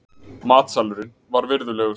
Matsalurinn var virðulegur.